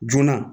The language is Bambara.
Joona